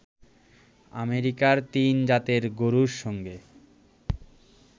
আমেরিকার তিন জাতের গরুর সঙ্গে